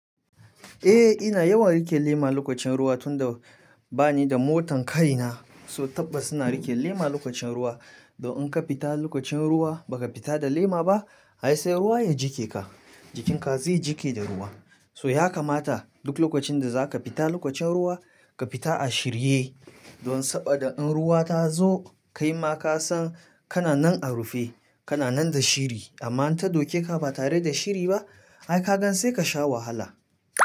Eh ina yawan rike lema lokacin ruwa tunda bani da motan kayina, su taɓa suna rike lema lokacin ruwa. Don in ka fita lokacin ruwa baka fita da lema ba ai sai ruwa ya jike ka, jikinka zai jike da ruwa. So ya kamata duk lokacin da zaka fita lokacin ruwa, ka fita a shirye. Don saboda in ruwa ta zo kaima kasan kana nan a rufe, kana nan da shiri amma in ta doke ka ba tare da shiri ba ai ka gan sai ka sha wahala.